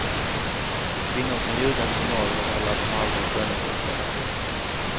Kvinnor kan ljuga om sin ålder eller att de aldrig har skönhetsopererat sig.